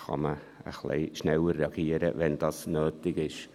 Dann kann man ein bisschen schneller reagieren, wenn dies nötig ist.